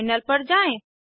terminal पर जाएँ